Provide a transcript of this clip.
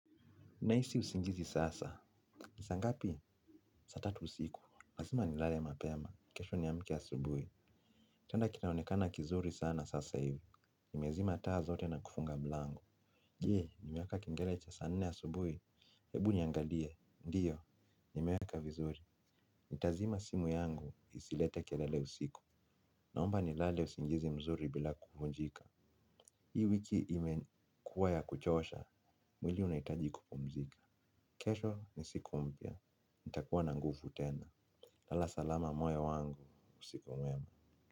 Nahisi usingizi sasa. Ni saa ngapi? Saa tatu usiku. Lazima ni lale mapema. Kesho niamke ya subuhi. Kitanda kinaonekana kizuri sana sasa hivi. Nimezima taa zote na kufunga mlango. Je, nimewaka kengele cha saa nne ya subuhi. Hebu niangalie. Ndiyo, nimeweka vizuri. Nitazima simu yangu isilete kelele usiku. Naomba nilale usingizi mzuri bila kuvunjika. Hii wiki imekuwa ya kuchosha, mwili unaitaji kupumzika. Kesho ni siku mpya. Nitakuwa na nguvu tena. Lala salama mwe wangu. Usiku mwema.